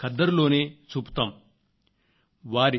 భారతదేశంలో రైతుల శ్రేయస్సు గురించి మనం ఎంతో అనురక్తి చూపుతాం